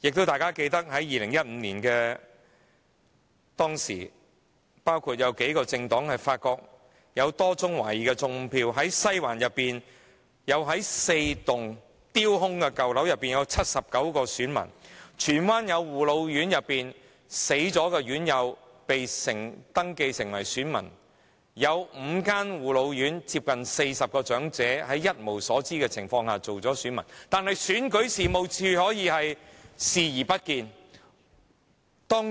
大家亦記得在2015年，數個政黨發現有多宗懷疑"種票"事件，包括在西環4座丟空的舊樓內竟有79名選民；在荃灣，有護老院內已離世院友被登記成為選民，另有5間護老院接近40名長者在一無所知的情況下成為選民，但選舉事務處卻視而不見。